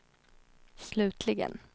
slutligen